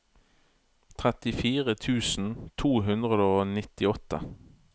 trettifire tusen to hundre og nittiåtte